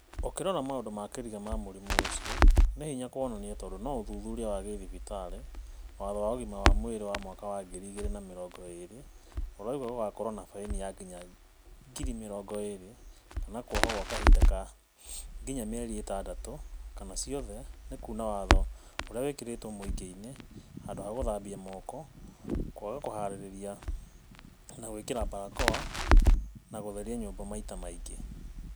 ũkĩrora maũndũ ma kĩriga ma mũrimũ ũcio, nĩ hinya kuonania tondũ no uthuthuria wa gĩthibitarĩ, Watho wa ugĩma wa mwĩrĩ wa mwaka wa ngiri igĩrĩ na mĩrongo ĩrĩ urauga gugakorwo na baĩni ya nginya ngiri mĩrongo ĩrĩ na kuohwo kwa ihinda rĩa nginya mĩeri ĩtandatu kana ciothe nĩ kuna watho urĩa wĩkĩrĩtwo muingĩini; handu ha guthambia moko, kwaga gukuhanĩrĩria na guĩkira mbarakoa na gutheria nyumba maita maingĩ.